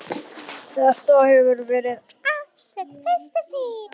Þetta hefur verið ást við fyrstu sýn.